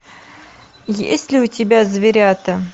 есть ли у тебя зверята